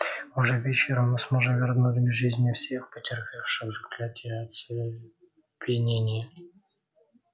уже вечером мы сможем вернуть к жизни всех претерпевших заклятие оцепенения